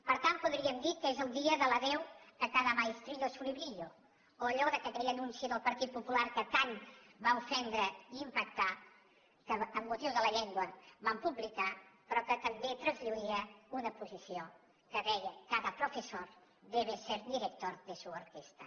per tant podríem dir que és el dia de l’adéu a cada maestrillo su librillo o a allò que aquell anunci del partit popular tant va ofendre i impactar que amb motiu de la llengua van publicar però que també traslluïa una posició que deia cada profesor debe ser director de su orquestra